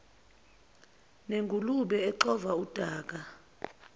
nengulube exova udaka